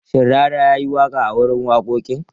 Shin Rarara ya yi waƙa a wurin wakokin?